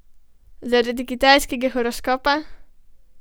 Zaradi kitajskega horoskopa?